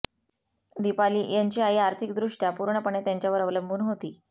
दीपाली यांची आई आर्थिकदृष्ट्या पूर्णपणे त्यांच्यावर अवलंबून होती